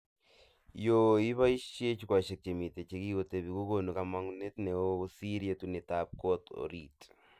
Yo iboishee jukwaishek chemite chekikotebi kokonu kamagunet neo kosir yetunetab kot orit